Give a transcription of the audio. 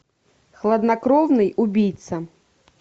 хладнокровный убийца